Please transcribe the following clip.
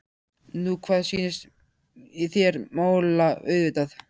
Nú hvað sýnist þér. mála auðvitað!